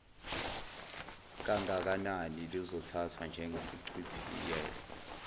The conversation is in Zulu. kangakanani luzothathwa njengesichibiyelo